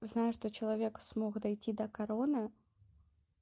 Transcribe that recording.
знаю что человек смог дойти до короны